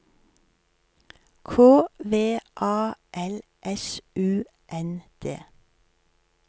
K V A L S U N D